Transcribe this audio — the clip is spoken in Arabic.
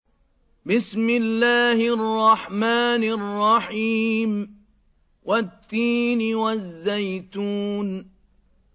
وَالتِّينِ وَالزَّيْتُونِ